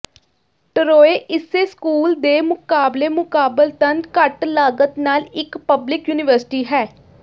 Troy ਇਸੇ school ਦੇ ਮੁਕਾਬਲੇ ਮੁਕਾਬਲਤਨ ਘੱਟ ਲਾਗਤ ਨਾਲ ਇਕ ਪਬਲਿਕ ਯੂਨੀਵਰਸਿਟੀ ਹੈ